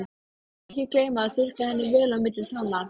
Og ekki gleyma að þurrka henni vel á milli tánna.